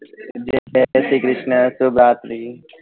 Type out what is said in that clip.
જાય શ્રી કૃષ્ણ શુભ રાત્રી